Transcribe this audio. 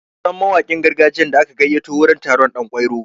Sunan mawakin gargajiyan da aka gayyato wurin taron ɗan kwairo.